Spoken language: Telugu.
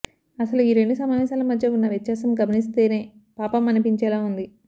అసలు ఈ రెండు సమావేశాల మధ్య ఉన్న వ్యత్యాసం గమనిస్తేనే పాపం అనిపించేలా ఉంది